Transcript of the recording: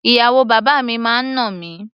Ìyàwó bàbá mi máa ń nà mí.